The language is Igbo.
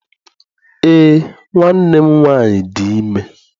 Eé, nwanne m nwaanyị dị ime.